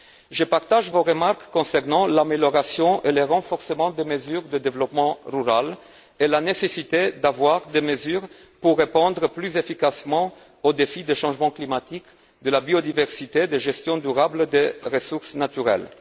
Je partage vos remarques concernant l'amélioration et le renforcement des mesures de développement rural et la nécessité de prendre des mesures pour répondre plus efficacement aux défis du changement climatique, de la biodiversité et de la gestion durable des ressources naturelles.